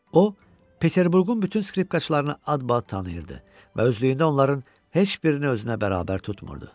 O, Peterburqun bütün skripkaçlarını adbaad tanıyırdı və özlüyündə onların heç birini özünə bərabər tutmurdu.